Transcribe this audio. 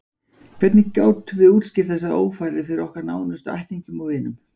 Hvernig gátum við útskýrt þessar ófarir fyrir okkar nánustu ættingjum og vinum?